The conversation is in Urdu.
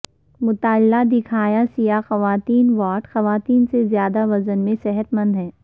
مطالعہ دکھائیں سیاہ خواتین وائٹ خواتین سے زیادہ وزن میں صحت مند ہیں